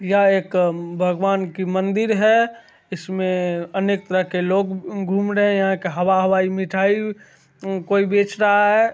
यह एक अ भगवान की मंदिर है इसमे अनेक तरह के लोग घू-घूम रहे है यहाँ के हवा-हवाई मिठाई म कोई बेच रहा है।